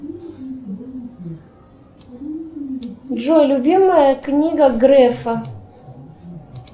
джой любимая книга грефа